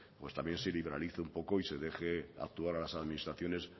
pues también se liberalice un poco y se deje actuar a las administraciones